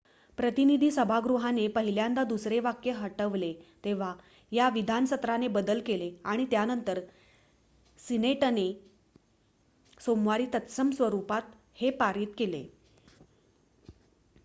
प्रतिनिधी सभागृहाने पहिल्यांदा दुसरे वाक्य हटवले तेव्हा या विधान सत्राने बदल केले आणि त्यानंतर सिनेटने सोमवारी तत्सम स्वरुपात हे पारित केले